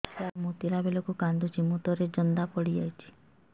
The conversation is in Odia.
ଛୁଆ ଟା ମୁତିଲା ବେଳକୁ କାନ୍ଦୁଚି ମୁତ ରେ ଜନ୍ଦା ପଡ଼ି ଯାଉଛି